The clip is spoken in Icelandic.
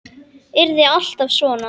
Yrði alltaf svona.